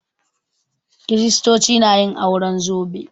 Kiristoci na yin auren zobe